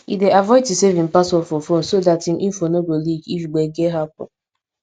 e dey avoid to save im password for phone so that im info no go leak if gbege happen